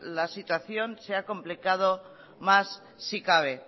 la situación se ha complicado más si cabe